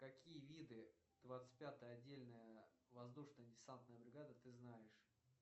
какие виды двадцать пятая отдельная воздушно десантная бригада ты знаешь